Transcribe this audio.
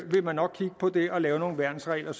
man nok kigge på det og lave nogle værnsregler og